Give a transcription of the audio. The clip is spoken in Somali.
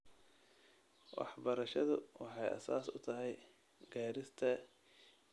Waxbarashadu waxay aasaas u tahay gaarista yoolalka horumarineed ee waara.